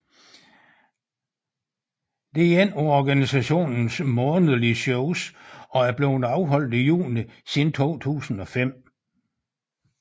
Det er ét af organisationens månedlige shows og er blevet afholdt i juni siden 2005